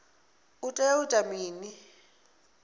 u tea u ita mini